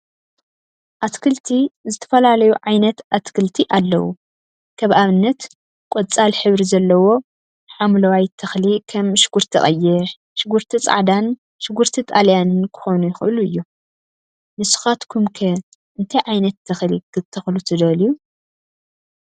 አትክልቲ ዝተፈላለዩ ዓይነት አትክልቲ አለው፡፡ ከም አብነት ቆፃል ሕብሪ ዘለዎ ሓምለዋይ ተክሊ ከም ሽጉርቲ ቀይሕ፣ ሽጉርቲ ፃዕዳን ሽጉርቲ ጣልያንን ክኾኑ ይክእሉ እዮም፡፡ ንስካትኩም ከ እንታይ ዓይነት ተክሊ ክትተክሉ ትደልዩ?